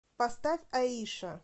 поставь аиша